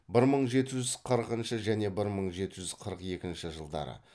бір мың жеті жүз қырықыншы және бір мың жеті жүз қырық екінші жылдары